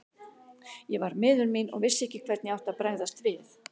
Ég var miður mín og vissi ekki hvernig ég átti að bregðast við.